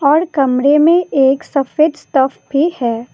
और कमरे में एक सफेद स्टफ भी है।